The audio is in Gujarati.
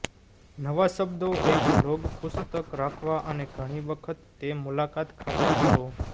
નવા શબ્દો એક લોગ પુસ્તક રાખવા અને ઘણી વખત તે મુલાકાત ખાતરી કરો